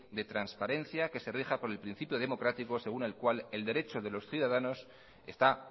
de transparencia que se rija por el principio democrático según el cual el derecho de los ciudadanos está